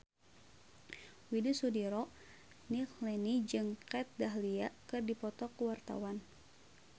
Widy Soediro Nichlany jeung Kat Dahlia keur dipoto ku wartawan